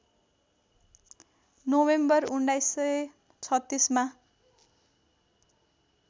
November १९३६ मा